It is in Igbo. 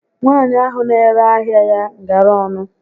Nwaànyị ahụ n'ere ahịa ya ngara ọnụ